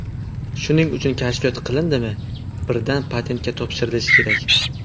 Shuning uchun kashfiyot qilindimi, birdan patentga topshirilishi kerak.